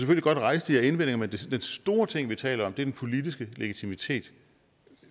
kan rejse de her indvendinger men den store ting vi taler om er den politiske legitimitet